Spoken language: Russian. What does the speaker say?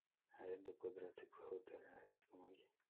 аренда квадроциклов в отеле алиса помоги